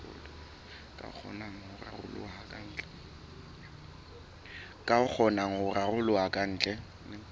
ka kgonang ho raroloha kantle